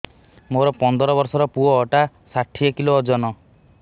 ମୋର ପନ୍ଦର ଵର୍ଷର ପୁଅ ଟା ଷାଠିଏ କିଲୋ ଅଜନ